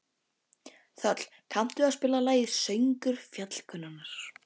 Þöll, kanntu að spila lagið „Söngur fjallkonunnar“?